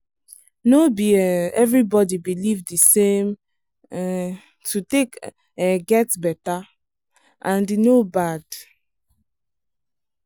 no be um everybody believe the same way um to take um get better — and e no bad.